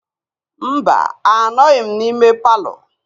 Mba, anọghịm na ime palọ.